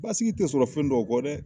Basigi tɛ sɔrɔ fɛn dɔw kɔ dɛ.